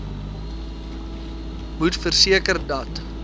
moet verseker dat